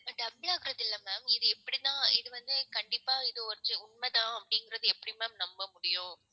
Double ஆகறது இல்ல ma'am. இது எப்படின்னா இது வந்து கண்டிப்பா இது origi~ உண்மைதான் அப்படிங்கிறது எப்படி ma'am நம்ப முடியும்?